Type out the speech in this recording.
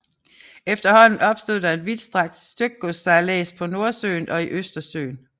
Efterhånden opstod der en vidtstrakt stykgodssejlads på Nordsøen og i Østersøen